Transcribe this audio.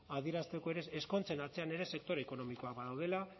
adierazteko ere ezkontzen atzean ere sektore ekonomikoak badaudela